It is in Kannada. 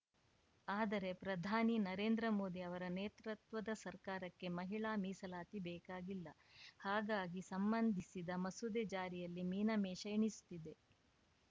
ಆದರೆ ಪ್ರಧಾನಿ ನರೇಂದ್ರ ಮೋದಿ ಅವರ ನೇತೃತ್ವದ ಸರ್ಕಾರಕ್ಕೆ ಮಹಿಳಾ ಮೀಸಲಾತಿ ಬೇಕಾಗಿಲ್ಲ ಹಾಗಾಗಿ ಸಂಬಂಧಿಸಿದ ಮಸೂದೆ ಜಾರಿಯಲ್ಲಿ ಮೀನಮೇಷ ಎಣಿಸುತ್ತಿದೆ